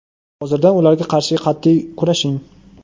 Hozirdan ularga qarshi qat’iy kurashing.